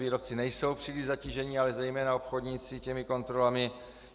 Výrobci nejsou příliš zatíženi, ale zejména obchodníci těmi kontrolami.